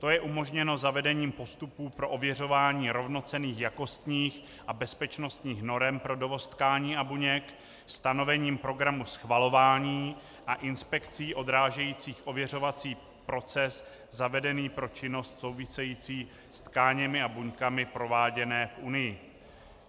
To je umožněno zavedením postupů pro ověřování rovnocenných jakostních a bezpečnostních norem pro dovoz tkání a buněk, stanovením programu schvalování a inspekcí odrážejících ověřovací proces zavedený pro činnost související s tkáněmi a buňkami prováděné v Unii.